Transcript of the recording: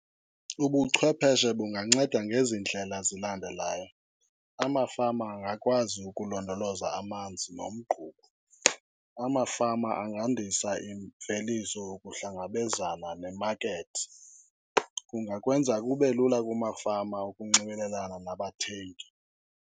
Ubuchwepheshe bunganceda ngezi ndlela zilandelayo, amafama angakwazi ukulondoloza amanzi nomgquba. Amafama angandisa imveliso ukuhlangabezana nemakethi. Kungakwenza kube lula kumafama ukunxibelelana nabathengi.